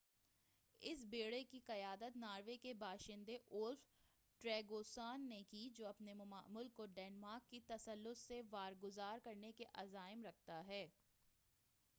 اس بیڑے کی قیادت ناروے کے باشندے اولف ٹریگواسن نے کی جو اپنے ملک کو ڈنمارک کے تسلط سے واگزار کرنے کے عزائم رکھتا ہے